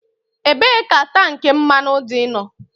Ebee ka tank mmanụ dị no?